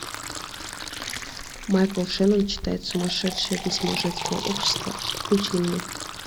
майкл шеннон читает сумасшедшее письмо женского общества включи мне